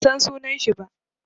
Ban san sunan shi ba.